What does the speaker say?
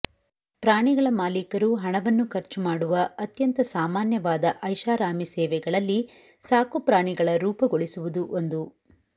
ಪ್ರಾಣಿಗಳ ಮಾಲೀಕರು ಹಣವನ್ನು ಖರ್ಚು ಮಾಡುವ ಅತ್ಯಂತ ಸಾಮಾನ್ಯವಾದ ಐಷಾರಾಮಿ ಸೇವೆಗಳಲ್ಲಿ ಸಾಕು ಪ್ರಾಣಿಗಳ ರೂಪಗೊಳಿಸುವುದು ಒಂದು